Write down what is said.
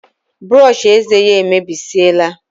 Brushi ézè yá emebesiela